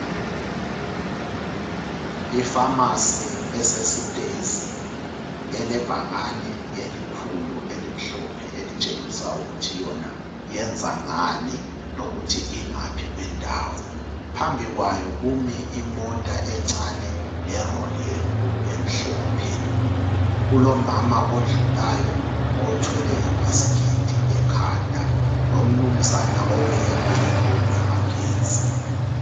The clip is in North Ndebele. Ipharmacy esesitezi, elebhakani elikhulu, elimhlophe, elitshengisa ukuthi yona yenza ngani, lokuthi ingaphi kwendawo. Phambi kwayo, kumi imota encane, leroli enkulu emhlophe. Kulomama odlulayo, othwele ibhasikiti ekhanda. LoMnumzana oweyeme ipole yamagetsi.